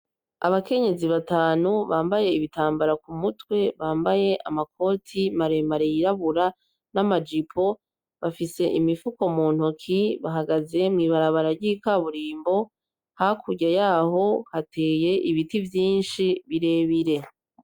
Abakenyezi batanu bambaye ibitambara kumutwe ,bambaye amakoti maremare yirabura n'amajipo, bafise imifuko muntoki ,bahagaze mwibarabara ry'ikaburimbo ,hakurya yaho hateye ibiti vyinshi birebire.